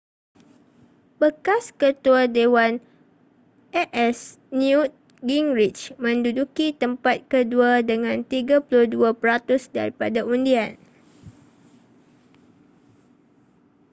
bekas ketua dewan a.s. newt gingrich menduduki tempat kedua dengan 32 peratus daripada undian